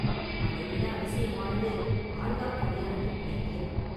அதைவிட அதிசயமானது ஆழ்வார்க்கடியானது பைத்தியம்.